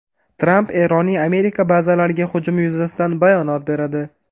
Tramp Eronning Amerika bazalariga hujumi yuzasidan bayonot beradi.